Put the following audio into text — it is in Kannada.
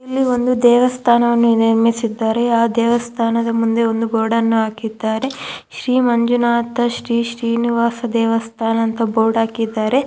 ಇಲ್ಲಿ ಒಂದು ದೇವಸ್ಥಾನವನ್ನು ನಿರ್ಮಿಸಿದ್ದಾರೆ ಆ ದೇವಸ್ಥಾನದ ಮುಂದೆ ಬೋರ್ಡ್ ಅನ್ನು ಹಾಕಿದ್ದಾರೆ ಶ್ರೀ ಮಂಜುನಾಥ ಶ್ರೀ ಶ್ರೀನಿವಾಸ ದೇವಸ್ಥಾನ ಅಂತ ಬೋರ್ಡ್ ಹಾಕಿದ್ದಾರೆ.